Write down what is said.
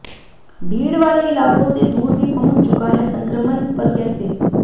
भीड़ वाले इलाकों से दूर भी पहुंच चुका है संक्रमण पर कैसे